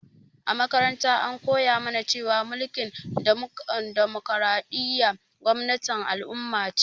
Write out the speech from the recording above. A makaranta an koya mu na cewa mulkin damokaraɗiya gwamnatin al'umma ce